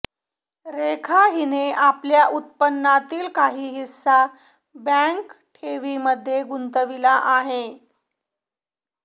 रेखा हिने आपल्या उत्पन्नातील काही हिस्सा बँक ठेवींमध्ये गुंतविला आहे